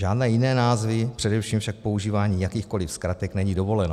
Žádné jiné názvy, především však používání jakýchkoli zkratek není dovoleno.